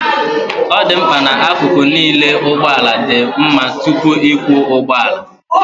ọ dị mkpa na akụkụ niile nke ụgbọ ala dị mma tupu ịkwọ ụgbọ ala